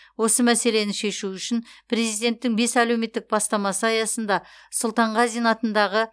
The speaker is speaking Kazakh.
осы мәселені шешу үшін президенттің бес әлеуметтік бастамасы аясында сұлтанғазин атындағы